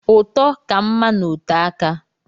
Ụtọ ka mma na ote aka.